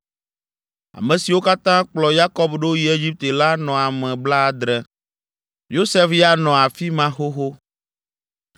Ame siwo katã kplɔ Yakob ɖo yi Egipte la anɔ ame blaadre. Yosef ya nɔ afi ma xoxo.